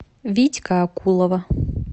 витька акулова